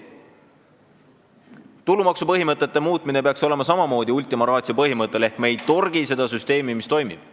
Tulumaksusüsteemi peaks samamoodi suhtuma ultima ratio põhimõttel ehk me ei torgi seda süsteemi, mis toimib.